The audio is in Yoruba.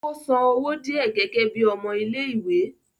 ó san owó díẹ̀ gẹ́gẹ́ bíi ọmọ ilé ìwé